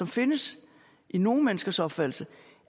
findes i nogle menneskers opfattelse